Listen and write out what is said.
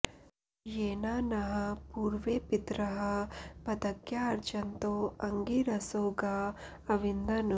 येना नः पूर्वे पितरः पदज्ञा अर्चन्तो अङ्गिरसो गा अविन्दन्